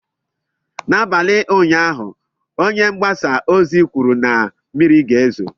N'abalị ụnyaahụ, Onye mgbasa ozi kwuru na mmiri ga-ezo.